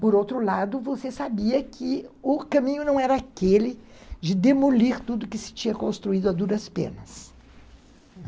Por outro lado, você sabia que o caminho não era aquele de demolir tudo que se tinha construído a duras penas.